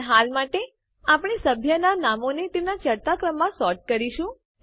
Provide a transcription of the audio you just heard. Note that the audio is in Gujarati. પણ હાલ માટે આપણે સભ્યનાં નામોને તેમનાં ચઢતા ક્રમમાં સોર્ટ કરીશું